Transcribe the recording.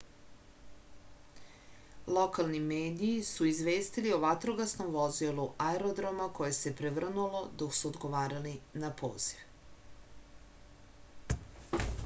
lokalni mediji su izvestili o vatrogasnom vozilu aerodroma koje se prevrnulo dok su odgovarali na poziv